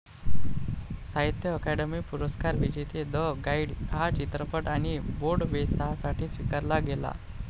साहित्य ॲकॅडमी पुरस्कार विजेते द गाईड हा चित्रपट आणि बोर्डवेसाठी स्विकारला गेला.